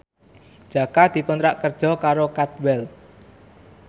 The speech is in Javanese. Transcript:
Jaka dikontrak kerja karo Cadwell